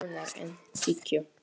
Rúnar: En tíkó?